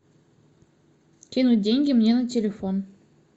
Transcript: кинуть деньги мне на телефон